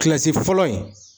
Kilasi fɔlɔ in